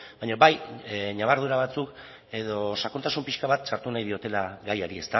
baina bai ñabardura batzuk edo sakontasun pixka bat sartu nahi diotela gaiari